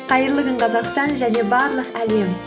қайырлы күн қазақстан және барлық әлем